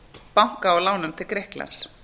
banka til grikklands